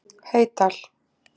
Heydal